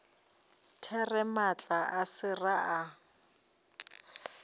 there maatla a sera a